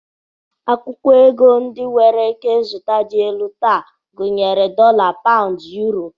Akwụkwọ ego ndị nwere ikenzụta dị elu taa gụnyere dọla, paụnds, yuro